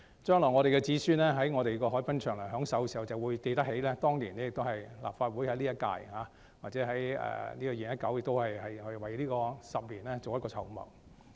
將來我們的子孫在海濱長廊享受時，便會記起當年，即今屆立法會，在2019年為未來10年作出籌謀。